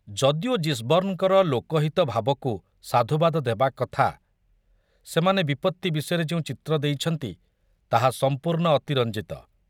ଯଦିଓ ଜିସବର୍ଣ୍ଣଙ୍କର ଲୋକହିତ ଭାବକୁ ସାଧୁବାଦ ଦେବାକଥା, ସେମାନେ ବିପତ୍ତି ବିଷୟରେ ଯେଉଁ ଚିତ୍ର ଦେଇଛନ୍ତି ତାହା ସମ୍ପୂର୍ଣ୍ଣ ଅତିରଞ୍ଜିତ।